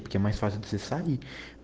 темай сразу ды зассали